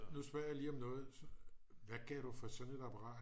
nu spørger jeg lige om noget hvad gav du for sådan et apparat